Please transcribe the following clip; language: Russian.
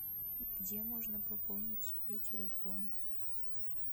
где можно пополнить свой телефон